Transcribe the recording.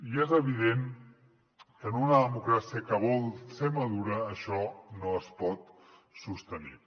i és evident que en una democràcia que vol ser madura això no es pot sostenir